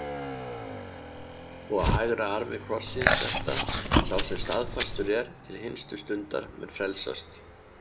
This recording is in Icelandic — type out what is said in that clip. Og á hægra armi krossins þetta: Sá sem staðfastur er til hinstu stundar mun frelsast.